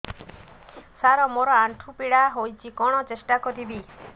ସାର ମୋର ଆଣ୍ଠୁ ପୀଡା ହଉଚି କଣ ଟେଷ୍ଟ କରିବି